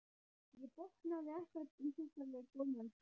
Ég botnaði ekkert í þessari góðmennsku.